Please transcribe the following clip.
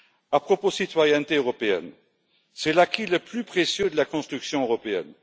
À propos de la citoyenneté européenne, c'est l'acquis le plus précieux de la construction européenne.